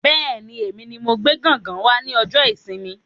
Bẹ́ẹ̀ni, èmi ní mo gbé gángan wá ní ọjọ ìsinmi